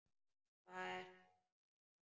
Hvað ertu með þarna?